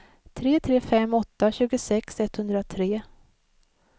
tre tre fem åtta tjugosex etthundratre